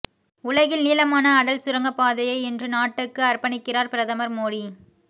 உலகின் நீளமான அடல் சுரங்கப்பாதையை இன்று நாட்டுக்கு அர்ப்பணிக்கிறார் பிரதமர் மோடி